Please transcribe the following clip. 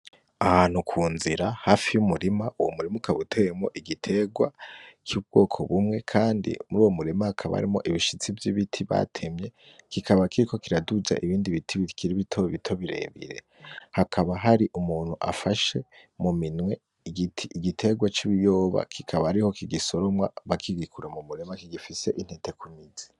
Ahantu ku nzira hafi y'umurima, uwo murima ukaba uteyemwo igitegwa c'ubwoko bumwe, kandi muri uwo murima hakaba harimwo ibishitsi vy'ibiti batemye kikaba kiko kiraduza ibindi biti bikiri bitobito birebire, hakaba hari umuntu afashe mu minwe igiterwa c'ibiyoba kikaba ariho kigisoromwa bakigikura mu murima kigifise intete ku mizi.